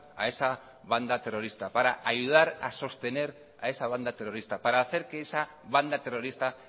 a esa banda terrorista para ayudar a sostener a esa banda terrorista para hacer que esa banda terrorista